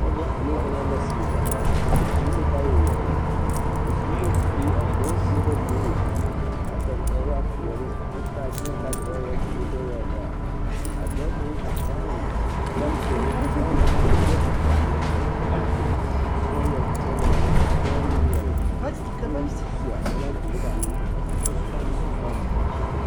Pɔɔbɔ ane dɔbɔ la seɛrɛ ba su la kaayɛ yaayire ba su la kuri a dɔbɔ seɛ la kuri ka dab kaa waa peɛle kyɛ taa boma kaa da baa waa bluu kyɛ wa waa bluu baare a dɔɔ kaŋ a eŋ bɛlɛntire sɔglɔ ka o yɛ tɔtɔ peɛle a yɛ tɔ peɛl peɛle kyɛ ka ba yɛre kɔkɔ lɛɛre ka pɔɔbɔ meŋ yɛre kyɛ meŋ seɛ bɛlɛntire kaa meŋ tɔ a peɛle ane sɔglɔ.